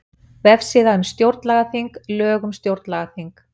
Vefsíða um stjórnlagaþing Lög um stjórnlagaþing